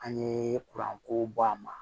An ye ko bɔ a ma